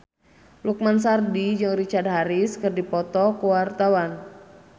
Lukman Sardi jeung Richard Harris keur dipoto ku wartawan